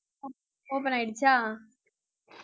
op~ open ஆயிடுச்சா